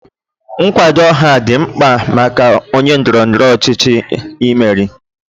Nkwado ọha dị mkpa maka onye ndọrọ ndọrọ ọchịchị imeri.